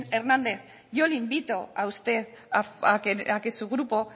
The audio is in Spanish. hernández yo le invito a usted a que su grupo